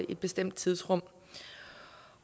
i bestemte tidsrum